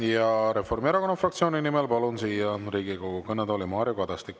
Ja Reformierakonna fraktsiooni nimel palun siia Riigikogu kõnetooli Mario Kadastiku.